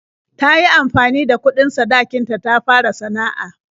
Ta yi amfani da kuɗin sadakin ta ta fara sana'a.